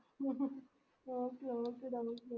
okay ട okay okay